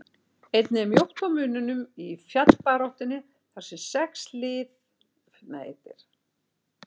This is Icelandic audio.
Einnig er mjótt á munum í fallbaráttunni þar sem sex lið berjast fyrir lífi sínu.